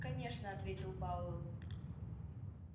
конечно ответил пауэлл